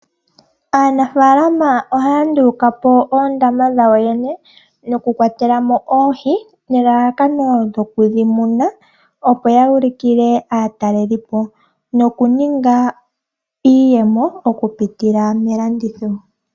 Aanafalama ohaya nduluka po oondama dhawo yene dhoku kwatelamo oohi, nelalakano lyoku dhi muna, opo yu ulukile aatalelipo, noku ninga iiyemo oku pitila melanditho.